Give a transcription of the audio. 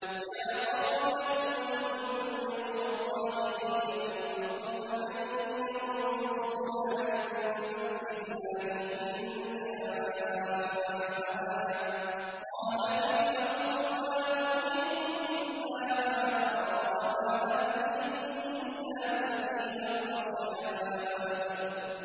يَا قَوْمِ لَكُمُ الْمُلْكُ الْيَوْمَ ظَاهِرِينَ فِي الْأَرْضِ فَمَن يَنصُرُنَا مِن بَأْسِ اللَّهِ إِن جَاءَنَا ۚ قَالَ فِرْعَوْنُ مَا أُرِيكُمْ إِلَّا مَا أَرَىٰ وَمَا أَهْدِيكُمْ إِلَّا سَبِيلَ الرَّشَادِ